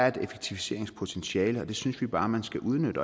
et effektiviseringspotentiale og det synes vi bare man skal udnytte